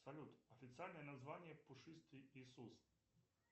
салют официальное название пушистый иисус